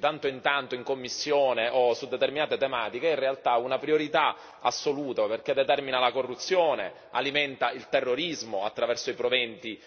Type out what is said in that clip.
tanto in tanto in commissione o su determinate tematiche è in realtà una priorità assoluta, perché determina la corruzione, alimenta il terrorismo, attraverso i proventi illegali,